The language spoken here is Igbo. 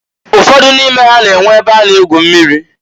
Ụfọdụ n'ime ha na-enwe e be a na-egwu mmiri.